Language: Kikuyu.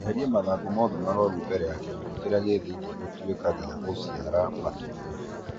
Eheria mathangũ mothe marũaru mbere kĩgunyũ kĩrĩa gĩ thĩiniĩ gĩtanatuĩka gĩa gũciara matumbi